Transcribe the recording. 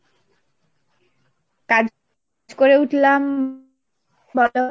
কাজ করো করে উঠলাম বলো?